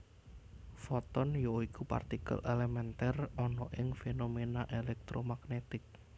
Foton ya iku partikel elementer ana ing fenomena elektromagnetik